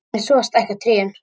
En svo stækka trén.